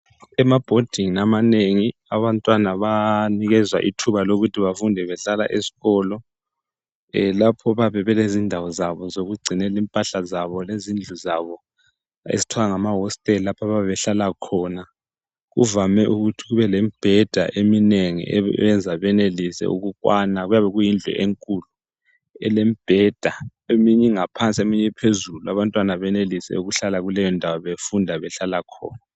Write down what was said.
Emabhodingi amanengi abantwana bayanikezwa ithuba lokuthi bafunde behlala ezikolo lapho bayabe belezindawo zabo zokugcinela impahla zabo lezindlu zabo ezithwa ngamahositela lapha abayabe behlala khona. Kuvame ukuthi kube lemibheda eminengi eyenza benelise ukukwana kuyabe kuyindlu enkulu elemibheda eminye ingaphansi eminye iphezulu abantwana benelise ukuhlala kuleyondawo befunda behlala khona.